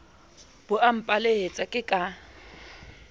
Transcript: bo a mpelaetsa ke ka